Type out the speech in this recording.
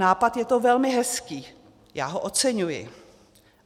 Nápad je to velmi hezký, já ho oceňuji.